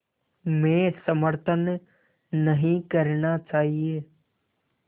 में समर्थन नहीं करना चाहिए